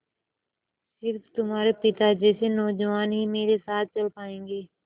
स़िर्फ तुम्हारे पिता जैसे नौजवान ही मेरे साथ चल पायेंगे